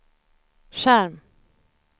skärm